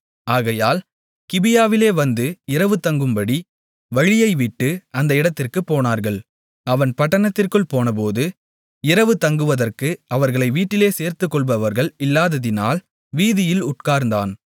ஆகையால் கிபியாவிலே வந்து இரவு தங்கும்படி வழியைவிட்டு அந்த இடத்திற்குப் போனார்கள் அவன் பட்டணத்திற்குள் போனபோது இரவு தங்குவதற்கு அவர்களை வீட்டிலே சேர்த்துக்கொள்பவர்கள் இல்லாததினால் வீதியில் உட்கார்ந்தான்